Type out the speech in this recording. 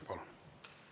Palun!